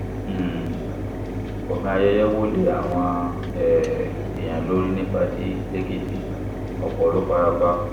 um gbọ̀ngàn ayẹyẹ wo lé àwọn um èèyàn lórí ní pátì lẹ́kìtì ọ̀pọ̀ ló fara pa